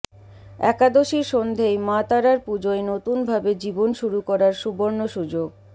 একাদশীর সন্ধেয় মা তারার পুজোয় নতুন ভাবে জীবন শুরু করার সুবর্ণ সুযোগ